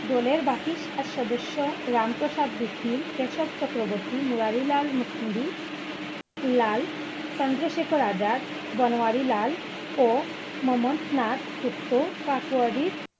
দলের বাকি সাত সদস্য রামপ্রসাদ বিস মিল, কেশব চক্রবর্তী, মুরারি লাল, মুকুন্দি লাল, চন্দ্রশেখর আজাদ, বনওয়ারী লাল ও মন্নাথ গুপ্ত কাকোরির!